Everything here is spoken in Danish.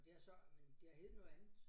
Og det har så men det har heddet noget andet